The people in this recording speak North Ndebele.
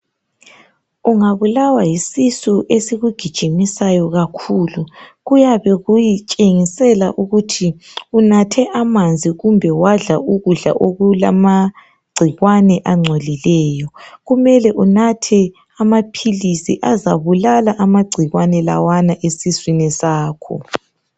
Ungabulawa yisisu esikugijimisayo kakhulu. Kuyabe kutshengisa ukuthi unathe amanzi loba wadla ukudla okulamagcikwane. Kuyabe kumele unathe amaphilisi azabulala amagcikwane lawo esiswini sakho.